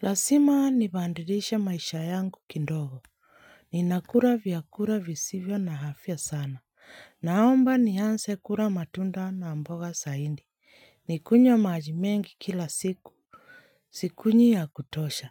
Lasima nibandirishe maisha yangu kindogo. Ninakura vyakura visivyo na hafya sana. Naomba nianse kura matunda na mboga saindi. Nikunywe maji mengi kila siku. Sikunywi ya kutosha.